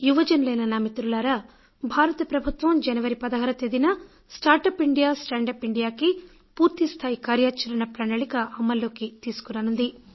యువజనులైన నా మిత్రులారా భారత ప్రభుత్వం జనవరి 16న start up India stand up ఇండియాకి పూర్తిస్థాయి కార్యాచరణ ప్రణాళిక అమల్లోకి తీసుకురానున్నది